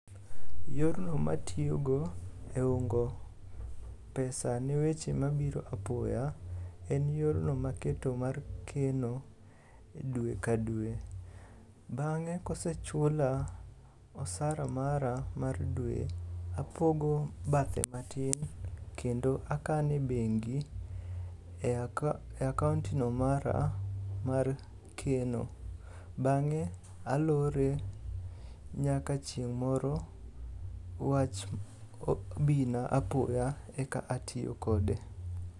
Yorno matiyogo e ungo pesa ne weche mabiro apoya en yorno maketo mar keno e dwe ka dwe. Bang'e kosechula osara mara mar dwe, apogo bathe matin kendo akano e bengi e akaontno mara mar keno, bang'e alore nyaka chieng' moro wach bina apoya eka atiyo kode.